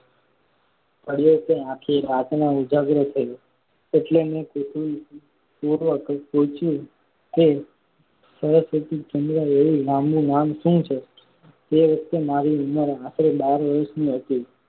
પડયો કે આખી રાતનો ઉજાગરો થયો. એટલે મેં કુતૂહલથી પૂછયું. સરસ્વતીચંદ્ર એવું લાંબુ નામ શું છે તે વખતે મારી ઉંમર આશરે બાર વરસની હતી.